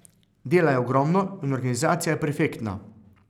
Dela je ogromno in organizacija je perfektna!